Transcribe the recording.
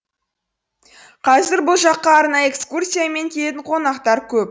қазір бұл жаққа арнайы экскурсиямен қонақтар көп